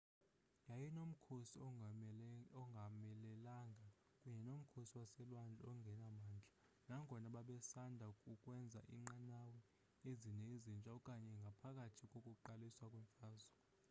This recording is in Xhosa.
yayinomkhosi ongomelelanga kunye nomkhosi waselwandle ongenamandla nangona babesanda ukwenza iinqanawa ezine ezintsha kanye ngaphambi kokuqalisa kwemfazwe